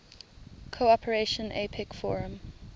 cooperation apec forum